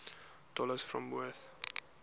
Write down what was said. dallas fort worth